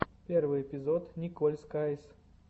первый эпизод николь скайз